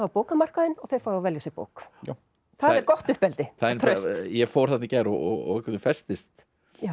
á bókamarkaðinn og þau fá að velja sér bók það er gott uppeldi og traust ég fór þarna í gær og festist